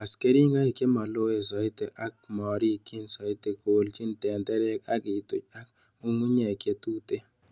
Was keringoik chemoloen soiti ako morikyin soiti, Kolchin tenderek ak ituch ak ng'ung'unyek chetuten.